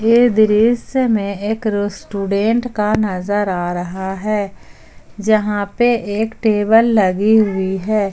ये दृश्य मे एक रेस्टोरेंट का नजर आ रहा है जहां पे एक टेबल लगी हुई है।